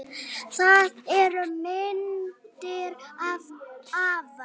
Það eru myndir af afa